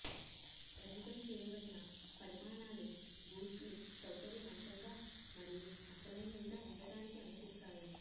పరిమితం చేయబడిన పరిమాణాలు బూట్లు సౌకర్యవంతంగా మరియు అసలైనవిగా ఉండటానికి అనుమతిస్తాయి